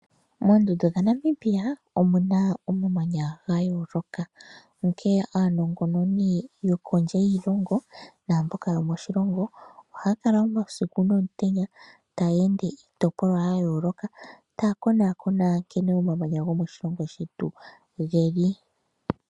Moondundu dhaNamibia omuna oma manya ga yooloka, onkee aanongononi yokondje yiilongo naamboka yo moshilongo ohaya kala omausiku nomutenya taya ende kiitopolwa ya yooloka taya konakona nkene omamanya go moshilongo shetu geli.